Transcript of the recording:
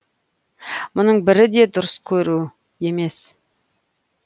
мұның бірі де дұрыс көру емес